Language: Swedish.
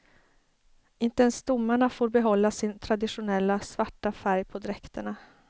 Inte ens domarna får behålla sin traditionella, svarta färg på dräkterna.